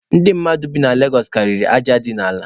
Ndị mmadụ bi na Legosụ karịrị aja dị n'ala.